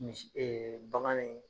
Mis banga niin